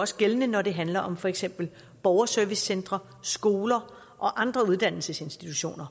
også gældende når det handler om for eksempel borgerservicecentre skoler og andre uddannelsesinstitutioner